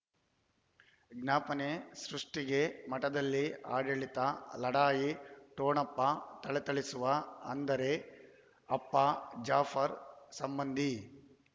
ವಿಜ್ಞಾಪನೆ ಸೃಷ್ಟಿಗೆ ಮಠದಲ್ಲಿ ಆಡಳಿತ ಲಢಾಯಿ ಠೊಣಪ ಥಳಥಳಿಸುವ ಅಂದರೆ ಅಪ್ಪ ಜಾಫರ್ ಸಂಬಂಧಿ